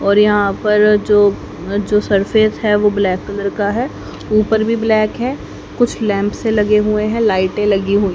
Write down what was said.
और यहां पर जो जो सरफेस है वो ब्लैक कलर का है ऊपर भी ब्लैक है कुछ लैंप से लगे हुए हैं लाइटे लगी हु--